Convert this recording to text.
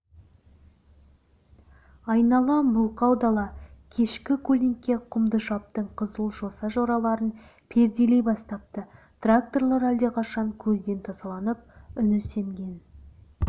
айнала мылқау дала кешкі көлеңке құмдышаптың қызыл-жоса жараларын перделей бастапты тракторлар әлдеқашан көзден тасаланып үні семген